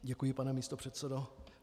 Děkuji, pane místopředsedo.